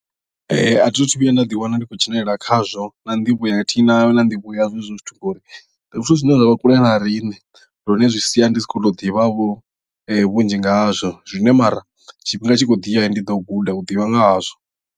A thi thu vhuya nda ḓiwana ndi khou dzhenelela khazwo na nḓivho athina na nḓivho yazwo hezwo zwithu ngori ndi zwithu zwine zwa vha kule na riṋe lune zwi sia ndi si khou tou ḓivha vho vhunzhi nga hazwo zwine mara tshifhinga tshi khou ḓiya ndi ḓo guda u ḓivha nga hazwo.